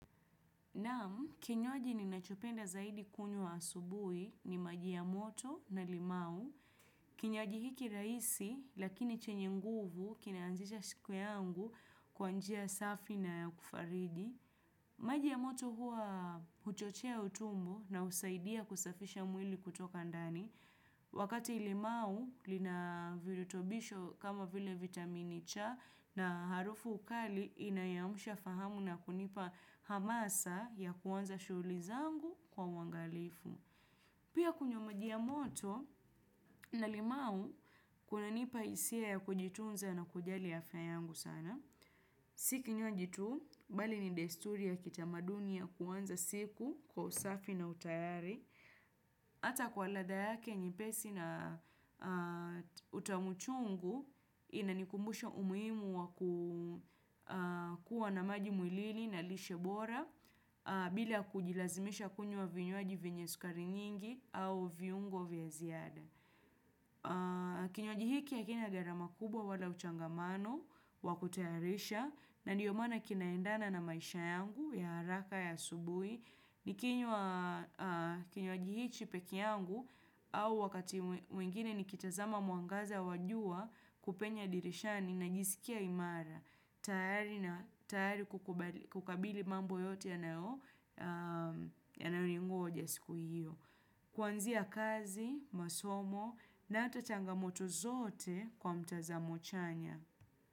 Naam, kinywaji ninachopenda zaidi kunywa asubuhi ni maji ya moto na limau. Kinyaji hiki rahisi, lakini chenye nguvu, kinaanzisha siku yangu kwa njia safi na ya kufaridi. Maji ya moto huwa huchochea utumbo na husaidia kusafisha mwili kutoka ndani. Wakati limau linavirutobisho kama vile vitamini cha na harufu kali inayoamsha fahamu na kunipa hamasa ya kwanza shughuli zangu kwa uangalifu. Pia kunywa maji ya moto na limau kunanipa hisia ya kujitunza na kujali ya afya yangu sana. Si kinywaji tu, bali ni desturi ya kitamaduni ya kwanza siku kwa usafi na utayari. Hata kwa laadha yake nyepesi na utamuchungu inanikumbusha umuhimu wa kuwa na maji mwilini na lishebora bila kujilazimisha kunywa vinyuaji vyenye sukari nyingi au viungo vya ziada. Kinywaji hiki ya hakina gharama kubwa wala uchangamano wa kutayarisha na ndiyo maana kinaendana na maisha yangu ya haraka ya asubui Nikinywa kinywaji hichi pekee yangu au wakati mwingine ni kitazama mwangaza wa jua kupenya dirishani najisikia imara tayari kukabili mambo yote yanao yanao ningoja siku hiyo Kwanzia kazi, masomo na hata changamoto zote kwa mtazamo chanya.